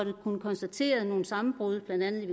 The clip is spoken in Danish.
kunnet konstatere nogle sammenbrud blandt andet i